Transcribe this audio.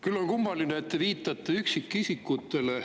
Küll on kummaline, et te viitate üksikisikutele.